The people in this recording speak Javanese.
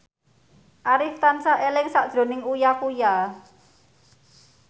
Arif tansah eling sakjroning Uya Kuya